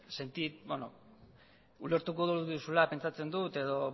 ulertuko duzula pentsatzen dut edo